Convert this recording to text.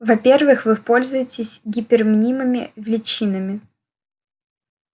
во-первых вы пользуетесь гипермнимыми величинами